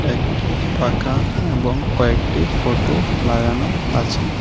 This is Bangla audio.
একটি পাখা এবং কয়েকটি ফোটো লাগানো আছে।